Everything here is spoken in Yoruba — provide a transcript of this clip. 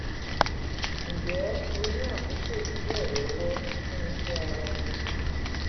ǹjẹ́ o ní àkókò díẹ̀ lọ́wọ́ fún iṣẹ́ ara ẹni kan?